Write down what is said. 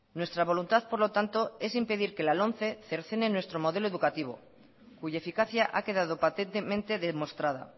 nuestra voluntad por lo tanto es impedir que la lomce cercene nuestro modelo educativo cuya eficacia ha quedado patentemente mostrada